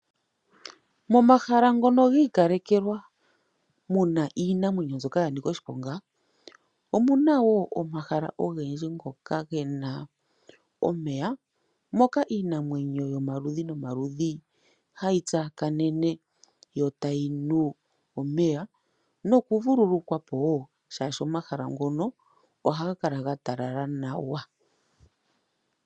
Momahala ngono gi ikalekelwa muna iinamwenyo mbyoka yanika oshiponga omuna woo omahala ogendji ngoka gena omeya moka iinamwenyo yomaludhi nomaludhi hayi tsakanena yo tayinu omeya noku vululukwapo woo oshok omahala ngono ohaga kala ga talala nawa.